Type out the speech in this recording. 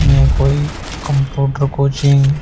ये कोई computer coaching --